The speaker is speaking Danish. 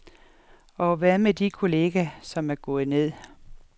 Og hvad med de kolleger, som er gået ned.